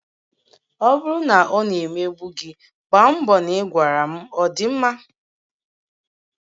Ọ bụrụ na ọ na-emegbu gi, gbaa mbọ na ị gwara m ọ dị mma?